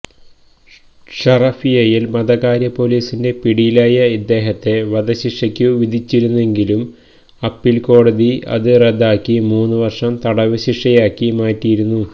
ഷറഫിയയിൽ മതകാര്യ പോലീസിന്റെ പിടിയിലായ ഇദ്ദേഹത്തെ വധശിക്ഷക്കു വിധിച്ചിരുന്നുവെങ്കിലും അപ്പീൽ കോടതി ഇത് റദ്ദാക്കി മൂന്നു വർഷം തടവുശിക്ഷയാക്കി മാറ്റിയിരുന്നു